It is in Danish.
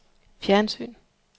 fjernsyn